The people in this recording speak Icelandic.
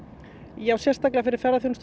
já sérstaklega fyrir